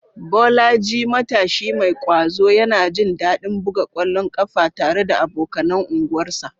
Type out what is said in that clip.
Bolaji, matashi mai ƙwazo, yana jin daɗin buga ƙwallon ƙafa tare da abokanan unguwarsa.